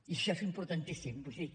i això és importantíssim vull dir